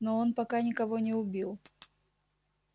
но он пока никого не убил